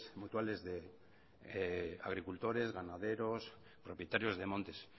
mutuales de agricultores ganaderos propietarios de montes